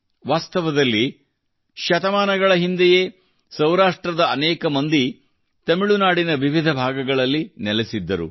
ವಾಸ್ತವದಲ್ಲಿ ಶತಮಾನಗಳ ಹಿಂದೆಯೇ ಸೌರಾಷ್ಟ್ರದ ಅನೇಕ ಮಂದಿ ತಮಿಳು ನಾಡಿನ ವಿವಿಧ ಭಾಗಗಳಲ್ಲಿ ನೆಲೆಸಿದ್ದಾರೆ